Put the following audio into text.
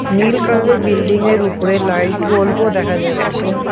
নীল কালারের বিল্ডিংয়ের উপরে লাইট অল্প দেখা যাচ্ছে।